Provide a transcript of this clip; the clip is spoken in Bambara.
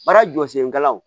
Baara jɔ sen galaw